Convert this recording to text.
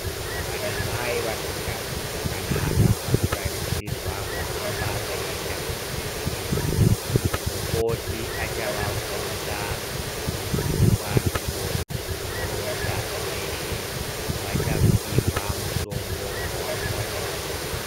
Vana mai vasinganzi zvakanaka vanotarisirwa kuhamba veienda kuzvibhedhlera mukoti acavavhunza ivo voronzazve zveshe vachaluhwa mutombo wavanofanura kumwa.